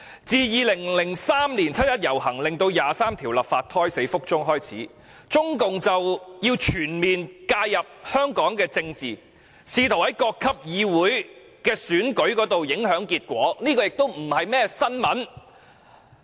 自2003年七一遊行令《基本法》第二十三條立法胎死腹中開始，中共便全面介入香港的政治，試圖在各級議會選舉中影響結果，這已不是甚麼新聞。